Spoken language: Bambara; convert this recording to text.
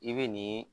I bɛ nin